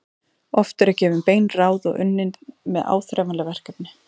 Oft eru gefin bein ráð og unnið með áþreifanleg verkefni.